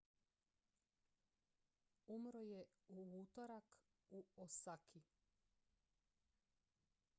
umro je u utorak u osaki